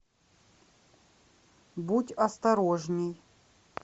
будь осторожней